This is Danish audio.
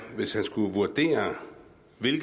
er